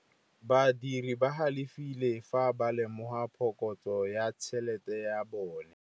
Badiri ba galefile fa ba lemoga phokotsô ya tšhelête ya bone.